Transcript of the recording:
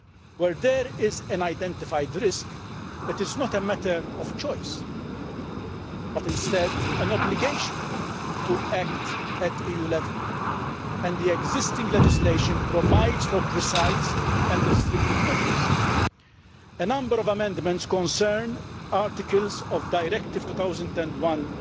Where there is an identified risk, it is not a matter of choice, but instead there is an obligation to act at EU level and the existing legislation provides for precise and restrictive measures. A number of amendments concern articles of Directive 2001